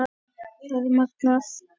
Það er magnað.